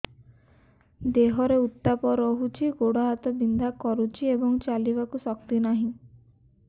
ଦେହରେ ଉତାପ ରହୁଛି ଗୋଡ଼ ହାତ ବିନ୍ଧା କରୁଛି ଏବଂ ଚାଲିବାକୁ ଶକ୍ତି ନାହିଁ